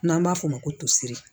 N'an b'a f'o ma ko tosiri